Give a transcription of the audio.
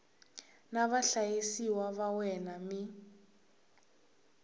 na vahlayisiwa va wena mi